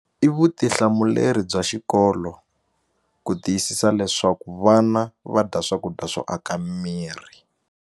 I vutihlamuleri bya xikolo ku tiyisisa leswaku vana va dya swakudya swo aka miri.